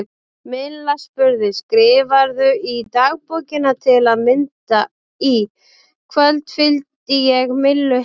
Milla spurði: Skrifarðu í dagbókina til að mynda: Í kvöld fylgdi ég Millu heim?